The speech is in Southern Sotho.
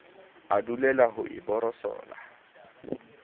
a dulela ho e borosola